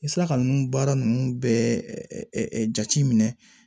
I sera ka ninnu baara ninnu bɛɛ jate minɛ